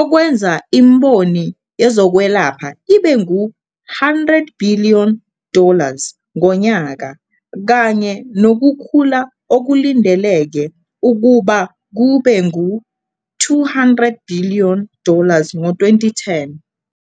okwenza imboni yezokwelapha ibe ngu- 100 billion dollars ngonyaka, kanye nokukhula okulindeleke ukuba kube ngu- 200 billion dollars ngo-2010.